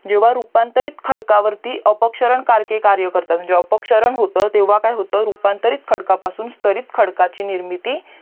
जेव्हा रूपांतरित खडकारती अपक्षरान कारके कार्य करतात जे अपक्षरान होत तेव्हा काय होत रूपांतरित खडकपासून स्थरीत खडकची निर्मिती